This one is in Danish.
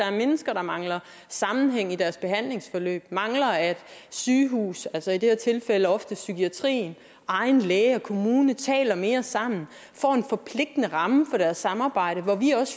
er mennesker der mangler sammenhæng i deres behandlingsforløb mangler at sygehuse altså i det tilfælde ofte psykiatrien egen læge og kommune taler mere sammen og får en forpligtende ramme for deres samarbejde her